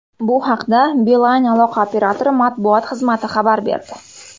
Bu haqda Beeline aloqa operatori matbuot xizmati xabar berdi.